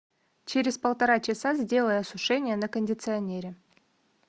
через полтора часа сделай осушение на кондиционере